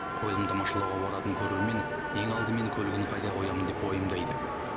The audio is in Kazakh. қойылым тамашалауға баратын көрермен ең алдымен көлігін қайда қоямын деп уайымдайды